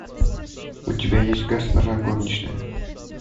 у тебя есть госпожа горничная